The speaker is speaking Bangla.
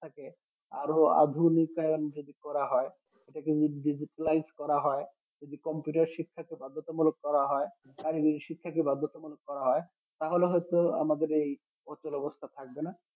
টাকে আরও আধুনিকরন যদি করা হয় সেটাকে digitalize করা হয় যদি computer শিক্ষাকে বাধ্যতামুলক করা হয় আর english শিক্ষা কে বাধ্যতামূলক করা হয় তাহলে হয়ত আমাদের এই অচল অবস্থা থাকবেনা